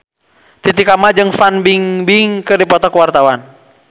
Titi Kamal jeung Fan Bingbing keur dipoto ku wartawan